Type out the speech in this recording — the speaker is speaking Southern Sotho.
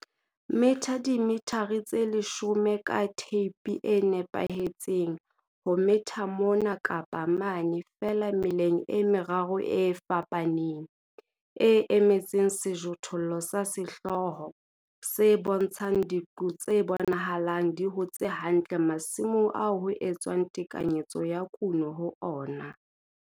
Metha dimethare tse leshome ka theipi e nepahetseng ho metha mona kapa mane feela meleng e meraro e fapaneng, e emetseng sejothollo sa sehlooho, se bontshang diqo tse bonahalang di hotse hantle masimong ao ho etswang tekanyetso ya kuno ho ona.